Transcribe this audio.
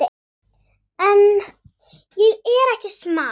En ég er ekki smali.